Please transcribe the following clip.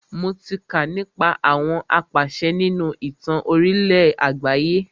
Mo tí kà nípa àwọn apàṣẹ nínú ìtàn orílẹ̀ àgbáyé.